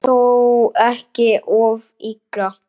En þó ekki of illa.